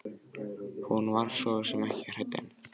Hún var svo sem ekki hrædd en.